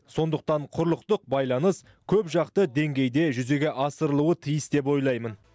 сондықтан құрлықтық байланыс көпжақты деңгейде жүзеге асырылуы тиіс деп ойлаймын